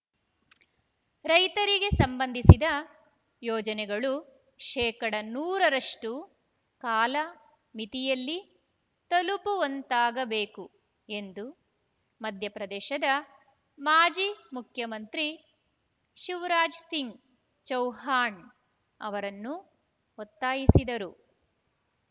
ರೈತರಿಗೆ ಸಂಬಂಧಿಸಿದ ಯೋಜನೆಗಳು ಶೇಕಡಾ ನೂರ ರಷ್ಟು ಕಾಲ ಮಿತಿಯಲ್ಲಿ ತಲುಪುವಂತಾಗಬೇಕು ಎಂದು ಮಧ್ಯಪ್ರದೇಶದ ಮಾಜಿ ಮುಖ್ಯಮಂತ್ರಿ ಶಿವರಾಜ್‌ಸಿಂಗ್ ಚೌಹಾಣ್ ಅವರನ್ನು ಒತ್ತಾಯಿಸಿದರು